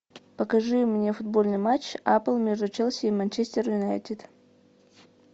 покажи мне футбольный матч апл между челси и манчестер юнайтед